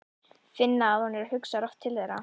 Finna að hún hugsar oft til þeirra.